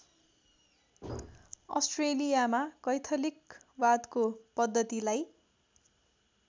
अस्ट्रेलियामा कैथलिकवादको पद्धतिलाई